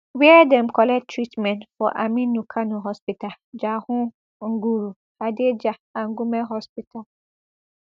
wia dem collect treatment for aminu kano hospital jahun nguru hadejia and gumel hospital